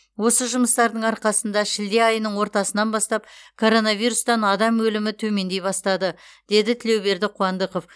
осы жұмыстардың арқасында шілде айының ортасынан бастап коронавирустан адам өлімі төмендей бастады деді тілеуберді қуандықов